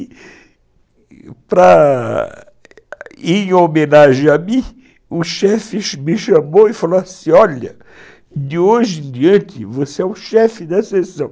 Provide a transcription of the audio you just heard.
Para, e, em homenagem a mim, o chefe me chamou e falou assim, olha, de hoje em diante, você é o chefe dessa sessão.